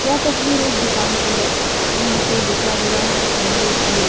यह तस्वीर एक दुकान की है जहाँ पे लिखा हुआ है अमूल मिल्क --